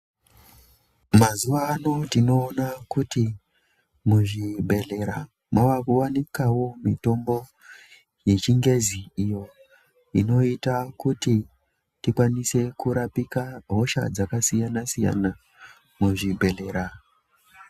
Mazuwa ano tinoona kuti muzvibhedhlera maakuwanikawo mitombo yechingezi iyo inoita kuti tikwanise kurapika hosha dzakasiyana siyana muzvibhedhlera.